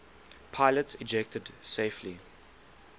pilots ejected safely